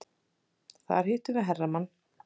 Þar hittum við hermann.